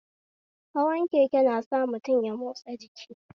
Hawan keke nasa mutum ya motsa jiki